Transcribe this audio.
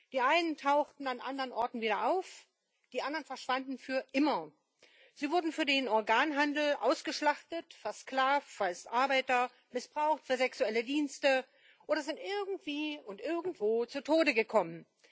Die einen tauchten an anderen Orten wieder auf, die anderen verschwanden für immer. Sie wurden für den Organhandel ausgeschlachtet, versklavt als Arbeiter, missbraucht für sexuelle Dienste oder sind irgendwie und irgendwo zu Tode gekommen.